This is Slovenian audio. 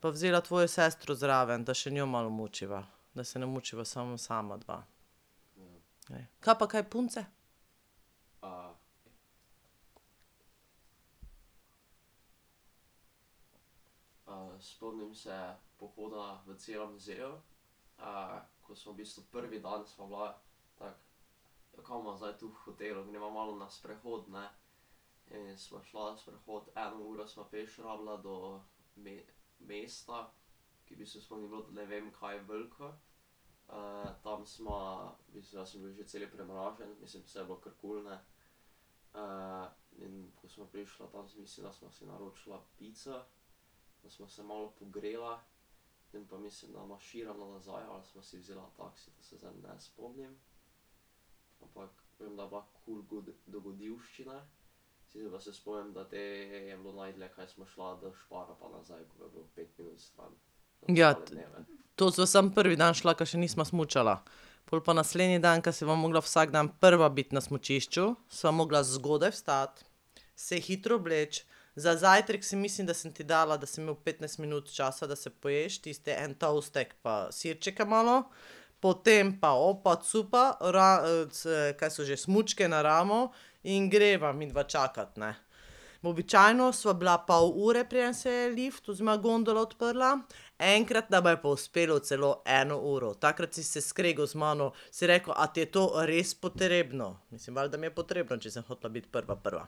pa vzela tvojo sestro zraven, da še njo malo mučiva, da se ne mučiva samo sama dva. Kaj pa kaj punce? Ja, to sva samo prvi dan šla, ka še nisva smučala. Pol pa naslednji dan, ka pa mogla biti vsak dan prva biti na smučišču, sva mogla zgodaj vstati, se hitro obleči. Za zajtrk si mislim, da sem ti dala, da si imel petnajst minut časa, da si poješ tisti en toastek pa sirčke malo, potem pa opa cupa, c, kaj so že, smučke na ramo in greva midva čakat, ne. Običajno sva bila pol ure, preden se je lift oziroma gondola odprla, enkrat nama je pa uspelo celo eno uro. Takrat si se skregal z mano, si rekel: "A ti je to res potrebno?" Mislim, valjda mi je potrebno, če sem hotela biti prva prva.